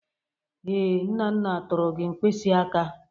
Ee, Nana tụrụ gị mkpịsị aka.